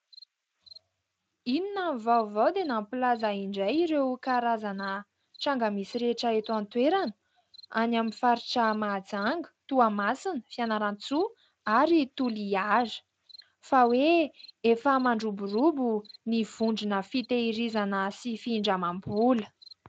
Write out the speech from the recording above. Inona ny vaovao dia nampilaza indray ireo karazana tranga misy rehetra eto an-toerana, any amin'ny faritra Mahajanga, Toamasina, Fianarantsoa ary Toliara fa hoe efa mandroborobo ny vondrona fitahirizana sy findramam-bola.